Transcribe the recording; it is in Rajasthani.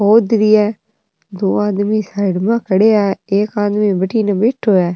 खोद री है दो आदमी साइड मा खडया है एक आदमी बठिन बैठो है।